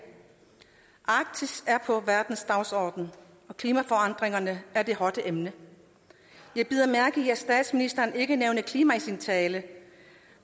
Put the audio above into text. arktis er på verdens dagsorden og klimaforandringerne er det hotte emne jeg bed mærke i at statsministeren ikke nævnede klima i sin tale